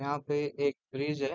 यहाँ पे एक ब्रिज़ है।